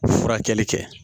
Furakɛli kɛ